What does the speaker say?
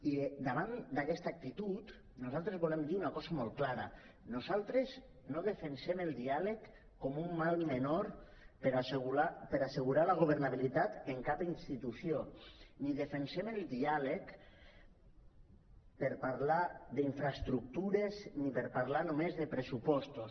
i davant d’aquesta actitud nosaltres volem dir una cosa molt clara nosaltres no defensem el diàleg com un mal menor per assegurar la governabilitat en cap institució ni defensem el diàleg per parlar d’infraestructures ni per parlar només de pressupostos